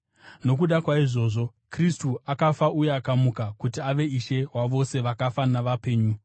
Nokuda kwaizvozvo, Kristu akafa uye akamuka kuti ave Ishe wavose vakafa navapenyu.